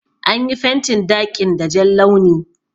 An yi fentin daƙin da Jan launi.